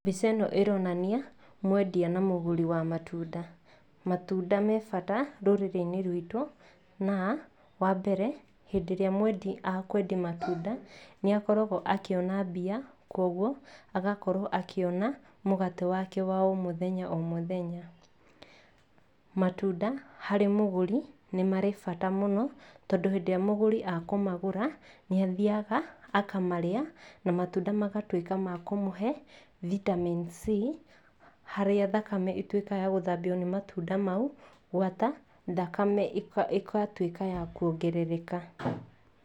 Mbica ĩno ĩronania mwendia na mũgũri wa matunda. Matunda me bata rũrĩrĩ-inĩ ruitũ na wa mbere, hĩndĩ ĩrĩa mwendia matunda nĩ akoragwo akĩona mbia kũoguo agakorwo akĩona mũgate wake wa o mũthenya o mũthenya. Matunda harĩ mũgũri nĩ marĩ bata mũno tondũ hĩndĩ ĩrĩa mũgũri a kũmagũra nĩ athiaga akamarĩa na matunda magatuĩka ma kũmũhe vitamin c harĩa thakame ĩtwĩkaga ya gũthambio nĩ matunda mau gwata thakame ĩga ĩgatwĩka ya kuongerereka.